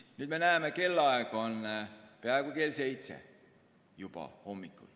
Me näeme, kell on peaaegu seitse hommikul.